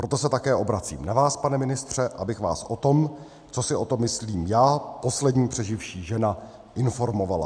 Proto se také obracím na vás, pane ministře, abych vás o tom, co si o tom myslím já, poslední přeživší žena, informovala.